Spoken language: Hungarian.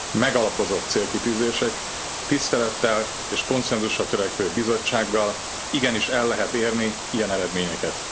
Megalapozott célkitűzésekkel, tisztelettel és konszenzusra törekvő Bizottsággal igenis el lehet érni ilyen eredményeket.